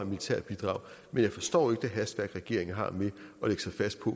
militært bidrag men jeg forstår ikke det hastværk regeringen har med at lægge sig fast på